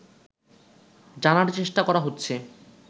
জানার চেষ্টা করা হচ্ছে